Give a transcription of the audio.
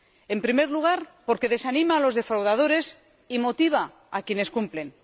En primer lugar, porque desanima a los defraudadores y motiva a quienes cumplen